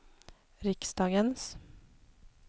riksdagens